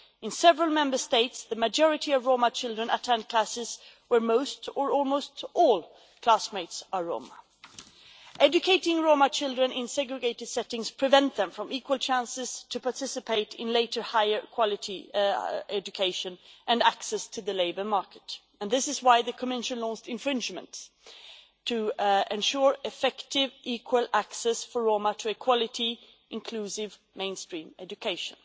In several Member States, the majority of Roma children attend classes where most or almost all classmates are Roma. Educating Roma children in segregated settings prevent them from equal chances to participate in later higher quality education and from gaining access to the labour market, and this is why the Commission launched infringements to ensure effective, equal access for Roma to a quality, inclusive, mainstream education.